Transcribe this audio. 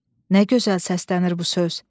Nə gözəl səslənir bu söz?